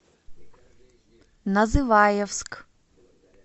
называевск